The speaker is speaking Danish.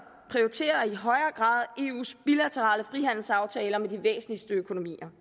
prioriterer i højere grad eus bilaterale frihandelsaftaler med de væsentligste økonomier